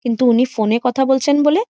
কিন্তু উনি ফোনে কথা বলছেন বলে।